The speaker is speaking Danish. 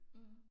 Mh